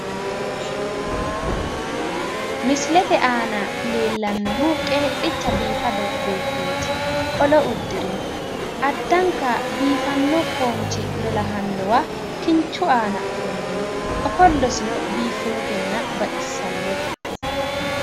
misilete aana leellannohu qeedhicha biifado beettooti qolo uddirino addanka biifanno foonchi lolahannowa kinchu aana ofallino ofallosino biiffannotenna baxissannote.